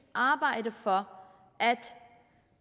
og arbejde for at